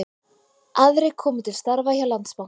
Aðrir koma til starfa hjá Landsbankanum